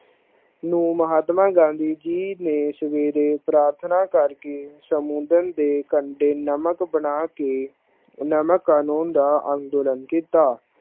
ਨੇ ਮਹਾਤਮਾ ਗਾਂਧੀ ਜੀ ਨੇ ਸਵੇਰੇ ਪ੍ਰਥਨਾ ਕਰ ਕੇ ਸਮੁੰਦਰ ਦੇ ਕੰਡੇ ਨਮਕ ਬਣਾ ਕੇ ਨਮਕ ਕਾਨੂੰਨ ਦਾ ਅੰਦੋਲਨ ਕੀਤਾ।